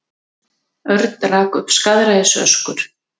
Örn rak upp skaðræðisöskur.